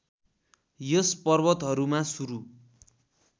यस पर्वतहरूमा सुरू